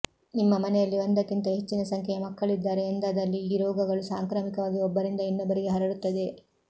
ನಿಮ್ಮ ಮನೆಯಲ್ಲಿ ಒಂದಕ್ಕಿಂತ ಹೆಚ್ಚಿನ ಸಂಖ್ಯೆಯ ಮಕ್ಕಳಿದ್ದಾರೆ ಎಂದಾದಲ್ಲಿ ಈ ರೋಗಗಳು ಸಾಂಕ್ರಾಮಿಕವಾಗಿ ಒಬ್ಬರಿಂದ ಇನ್ನೊಬ್ಬರಿಗೆ ಹರಡುತ್ತದೆ